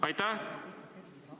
Aitäh!